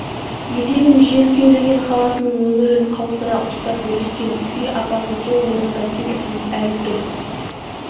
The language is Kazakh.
етегін жел кеулеген халатының өңірін қаусыра ұстап бүріскен күй апасы сол орнында селтиіп әл тұр